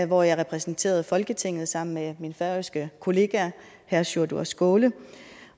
hvor jeg repræsenterede folketinget sammen med min færøske kollega herre sjúrður skaale